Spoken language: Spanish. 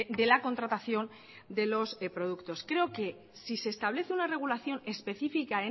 de la contratación de los productos creo que si se establece una regulación específica